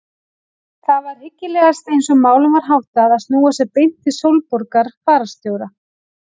Það var hyggilegast eins og málum var háttað að snúa sér beint til Sólborgar fararstjóra.